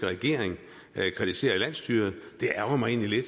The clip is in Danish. regering kritisere landsstyret og det ærgrer mig egentlig